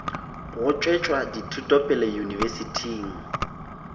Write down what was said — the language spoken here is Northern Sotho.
go tšwetša dithuto pele yunibesithing